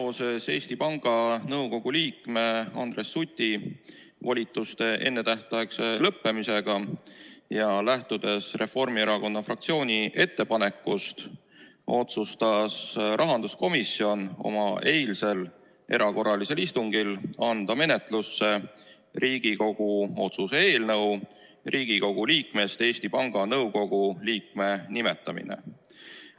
Seoses Eesti Panga Nõukogu liikme Andres Suti volituste ennetähtaegse lõppemisega ja lähtudes Reformierakonna fraktsiooni ettepanekust, otsustas rahanduskomisjon oma eilsel erakorralisel istungil anda menetlusse Riigikogu otsuse "Riigikogu liikmetest Eesti Panga Nõukogu liikme nimetamine" eelnõu.